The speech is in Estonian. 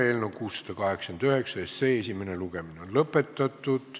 Eelnõu 689 esimene lugemine on lõppenud.